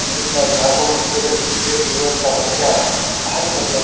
ಅಲ್ಲಿಂದ ಜಾರ್ಕೊಂಡ್ ಬಂದ್ ನೀರಲ್ಲಿ ಬಿದ್ರೆ ಸಿಗೋವಂಥ ಮಜಾ ಬಾರಿ ಮಜಾ ಇರುತ್ತೆ.